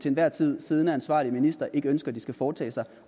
enhver tid siddende ansvarlige minister ikke ønsker de skal foretage sig